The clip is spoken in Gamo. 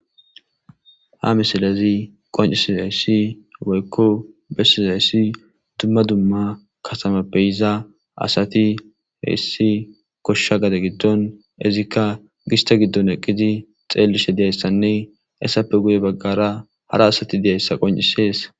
ha misilazi qoncisizayssi woykko bessizayssi dumma dumma kasamappe iza asati heyssi koshsha gade giddon izikka gista giddon eqqizi xeellishe diyayssanne issappe guye baggara hara asati deyayssa qonciseessa